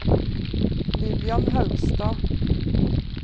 Lillian Haugstad